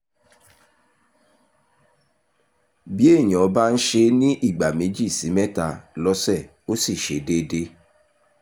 bí èèyàn bbá ń ṣe é ní ìgbà méjì sí mẹ́ta lọ́sẹ̀ ó sì ṣe déédé